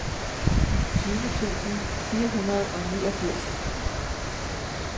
tyve tusind fire hundrede og niogfirs